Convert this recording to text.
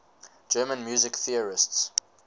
german music theorists